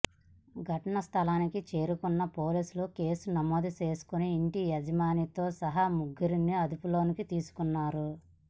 ఘటనా స్థలానికి చేరుకున్న పోలీసులు కేసు నమోదు చేసుకుని ఇంటి యజమానితో సహా ముగ్గురిని అదుపులోకి తీసుకున్నారు